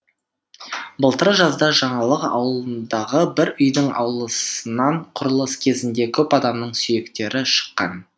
былтыр жазда жаңалық ауылындағы бір үйдің ауласынан құрылыс кезінде көп адамның сүйектері шыққан